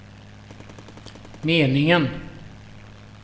meningen